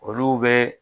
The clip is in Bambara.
Olu bɛ